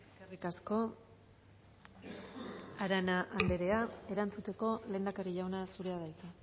eskerrik asko arana andrea erantzuteko lehendakari jauna zurea da hitza